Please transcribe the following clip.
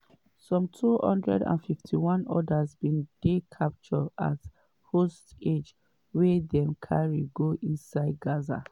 some 251 odas bin dey captured as hostages wey dem carry go inside gaza.